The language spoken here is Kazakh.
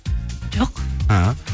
жоқ іхі